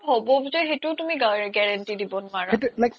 হ্'বও যে সেইতো তুমি guarantee দিব নুৱাৰা